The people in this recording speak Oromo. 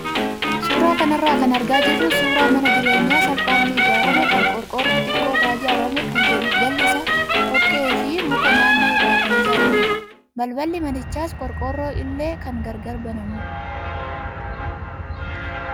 Suuraa kanarraa kan argaa jirru suuraa mana jireenyaa salphaatti ijaarame kan qorqoorroo xiqqoo irraa ijaarame kan jalli isaa dhoqqee fi muka naannoo irraa kan ijaaramedha. Balballi manichaas qorqoorroo illee kan gargar banamudha.